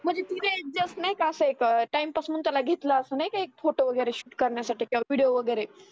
म्हणजे ती जे just नाही का असा एक time pass म्हणून त्याला घेतला असं नाय का photo वगैरे shoot करण्यासाठी video वगैरे